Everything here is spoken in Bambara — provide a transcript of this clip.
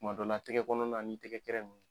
Kuma dɔ la tɛgɛ kɔnɔna ni tɛgɛ kɛrɛ ninnu.